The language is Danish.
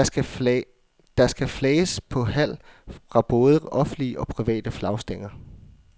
Der skal flages på halv fra både offentlige og private flagstænger.